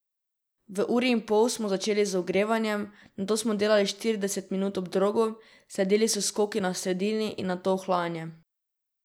V uri in pol smo začeli z ogrevanjem, nato smo delali štirideset minut ob drogu, sledili so skoki na sredini in nato ohlajanje.